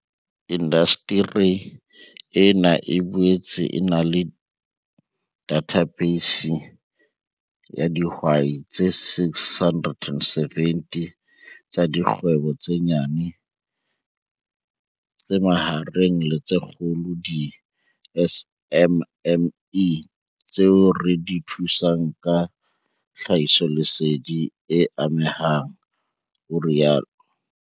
"Indasteri ena e boetse e na le dathabeisi ya dihwai tse 670 tsa dikgwebo tse nyane, tse mahareng le tse kgolo, di-SMME, tseo re di thusang ka tlhahisoleseding e amehang," o rialo.